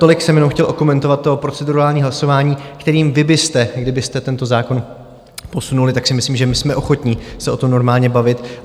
Tolik jsem jenom chtěl okomentovat to procedurální hlasování, kterým vy byste, kdybyste tento zákon posunuli, tak si myslím, že my jsme ochotní se o tom normálně bavit.